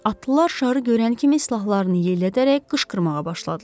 Atlılar şarı görən kimi silahlarını yellədərək qışqırmağa başladılar.